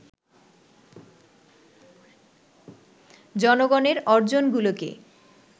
জনগণের অর্জনগুলোকে